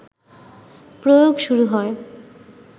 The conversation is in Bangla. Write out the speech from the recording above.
প্রয়োগ শুরু হয়